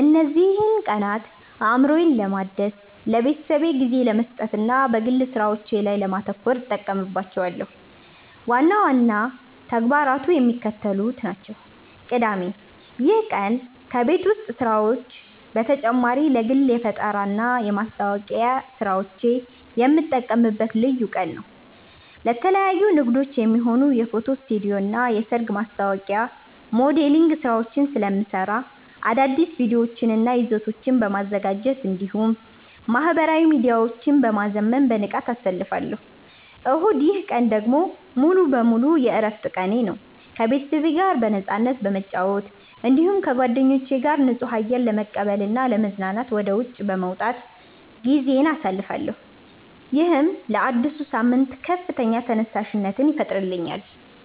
እነዚህን ቀናት አእምሮዬን ለማደስ፣ ለቤተሰቤ ጊዜ ለመስጠትና በግል ሥራዎቼ ላይ ለማተኮር እጠቀምባቸዋለሁ። ዋና ዋና ተግባራቱ የሚከተሉት ናቸው፦ ቅዳሜ (የተለየ ተግባር)፦ ይህ ቀን ከቤት ውስጥ ሥራዎች በተጨማሪ ለግል የፈጠራና የማስታወቂያ ሥራዎቼ የምጠቀምበት ልዩ ቀን ነው። ለተለያዩ ንግዶች የሚሆኑ የፎቶ ስቱዲዮና የሰርግ ማስታወቂያ ሞዴሊንግ ሥራዎችን ስለምሠራ፣ አዳዲስ ቪዲዮዎችንና ይዘቶችን በማዘጋጀት እንዲሁም ማኅበራዊ ሚዲያዎቼን በማዘመን በንቃት አሳልፋለሁ። እሁድ፦ ይህ ቀን ደግሞ ሙሉ በሙሉ የዕረፍት ቀኔ ነው። ከቤተሰቤ ጋር በነፃነት በመጨዋወት፣ እንዲሁም ከጓደኞቼ ጋር ንጹህ አየር ለመቀበልና ለመዝናናት ወደ ውጪ በመውጣት ጊዜዬን አሳልፋለሁ። ይህም ለአዲሱ ሳምንት ከፍተኛ ተነሳሽነት ይፈጥርልኛል።